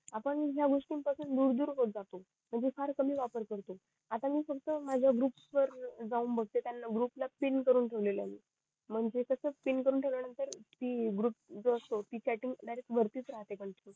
आपण ज्या गोष्टी पासून दूर दूर होत जातो म्हणजे फार कमी वापर करतो आता मी फक्त माझ्या ग्रुप वर जाऊन बगते त्यांना ग्रुप ला पिन करून ठेवलेलं मी म्हणते कास पिन करून ठेवल्या नंतर ती ग्रुप ची चॅटिंग डायरेक्ट वरती च राहते